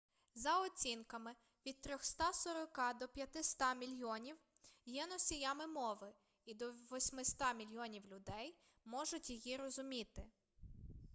за оцінками від 340 до 500 мільйонів є носіями мови і до 800 мільйонів людей можуть її розуміти